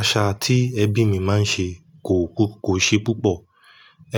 Àṣà tí ẹbí mi máa ń ṣe kò kú-- kò ṣe púpọ̀.